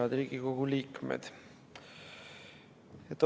Head Riigikogu liikmed!